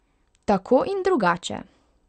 Tako in drugače.